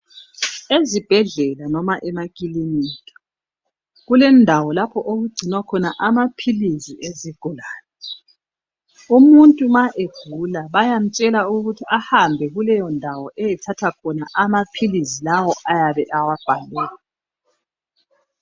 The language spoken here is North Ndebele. Ezibhedlela noma emakilinika, kulendawo lapho okugcinwa khona amaphilisi ezigulane. Umuntu ma egula bayamtshela ukuthi ahambe kuleyondawo eyethatha khona amaphilisi lawo ayabe ewabhalelwe.